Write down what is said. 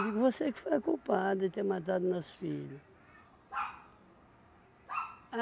digo, você que foi a culpada de ter matado nosso filho.